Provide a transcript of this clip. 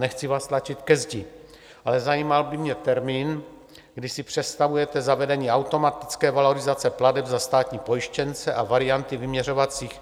Nechci vás tlačit ke zdi, ale zajímal by mě termín, kdy si představujete zavedení automatické valorizace plateb za státní pojištěnce a varianty vyměřovacích...